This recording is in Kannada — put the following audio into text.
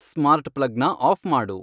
ಸ್ಮಾರ್ಟ್ ಪ್ಲಗ್ನ ಆಫ್ ಮಾಡು